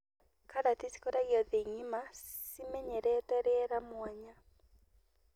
Karati cikũragio thĩ ng'ĩma ,cimenyerete rĩera mwanya.